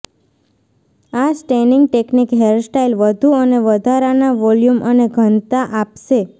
આ staining technique hairstyle વધુ અને વધારાના વોલ્યુમ અને ઘનતા આપશે